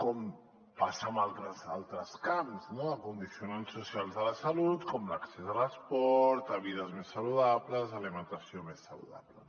com passa en altres camps amb condicionants socials de la salut com l’accés a l’esport a vides més saludables a alimentació més saludable